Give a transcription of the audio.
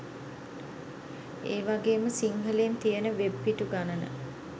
ඒවගේම සිංහලෙන් තියෙන වෙබ් පිටු ගණන